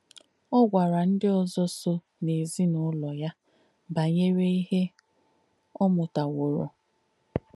Ọ̀ gwàrà ndí ózọ̀ sò n’èzín’ùlọ̀ yà bànyè̄re íhe ọ̀ mùtàwōrū.